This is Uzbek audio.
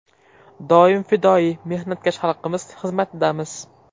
Doim fidoyi, mehnatkash xalqimiz xizmatidamiz.